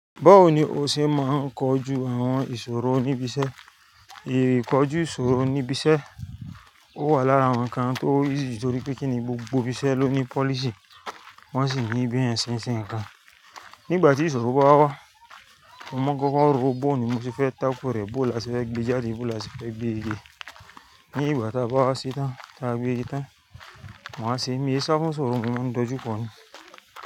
Báwo ni o ṣe máa ń kojú àwon ìsòro níbi isẹ́? Èrè kojú ìsòro níbi isẹ́, ó wà lára àwon nǹkan tó wúlò, torípé kíni gbogbo ibi isẹ́ ló ní policy, wón sì ní b'eeyan se sìn kan. Nígbà tí ìsòro bá wá, mo mọ́kọ́ ó rò ó, báwo ni mo ti fẹ́ tákò rẹ, bó la ti fẹ́ gbé e jáde, bó la ti fẹ́ gbé e de. Nígbà tá a bá wá se tan, tá a gbé e ta, wón á sì gbé e sákó sọ́rò mi, mo máa ń dojú kọ ni.